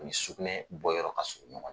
Ni sukunɛ bɔ yɔrɔ ka surun ɲɔgɔn na.